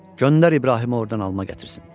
Göndər İbrahimi ordan alma gətirsin.